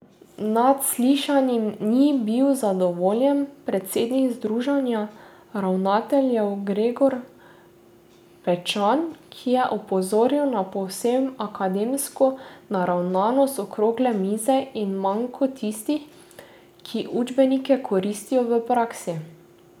Nad slišanim ni bil zadovoljen predsednik Združenja ravnateljev Gregor Pečan, ki je opozoril na povsem akademsko naravnanost okrogle mize in manko tistih, ki učbenike koristijo v praksi.